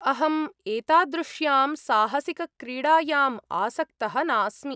अहं एतादृश्यां साहसिकक्रीडायां आसक्तः नास्मि।